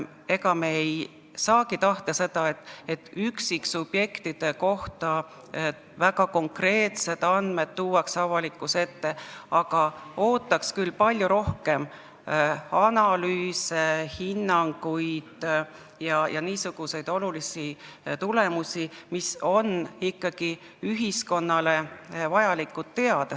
Ega me ei saagi tahta, et väga konkreetsed andmed üksiksubjektide kohta tuuakse avalikkuse ette, aga ootaks küll palju rohkem analüüse, hinnanguid ja olulisi tulemusi, mida ühiskonnal on ikkagi vaja teada.